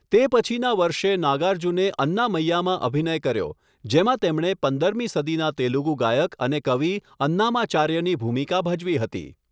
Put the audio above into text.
તે પછીના વર્ષે, નાગાર્જુને અન્નામય્યામાં અભિનય કર્યો, જેમાં તેમણે પંદરમી સદીના તેલુગુ ગાયક અને કવિ અન્નામાચાર્યની ભૂમિકા ભજવી હતી.